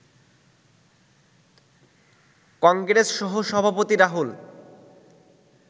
কংগ্রেস সহসভাপতি রাহুল